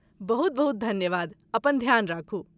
बहुत बहुत धन्यवाद, अपन ध्यान राखू।